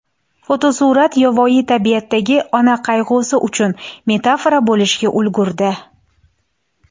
Fotosurat yovvoyi tabiatdagi ona qayg‘usi uchun metafora bo‘lishga ulgurdi.